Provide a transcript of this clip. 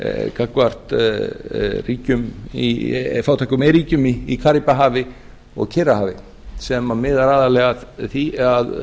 gagnvart fátæku iðnríkjum í karíbahafi og kyrrahafi sem miðar aðallega að því að